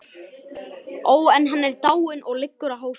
Ó, en hann er dáinn, og liggur á hafsbotni.